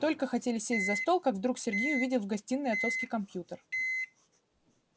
только хотели сесть за стол как вдруг сергей увидел в гостиной отцовский компьютер